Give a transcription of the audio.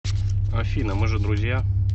афина мы же друзья